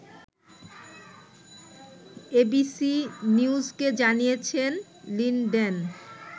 ABC নিউজকে জানিয়েছেন Linden